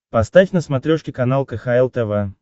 поставь на смотрешке канал кхл тв